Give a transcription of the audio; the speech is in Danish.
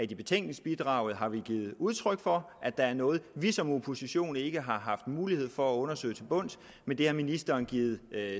i betænkningsbidraget har givet udtryk for at der er noget vi som opposition ikke har haft mulighed for at undersøge til bunds men det har ministeren givet